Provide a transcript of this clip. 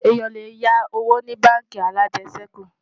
èyán lè yá owó ní bánkì alàjesèkú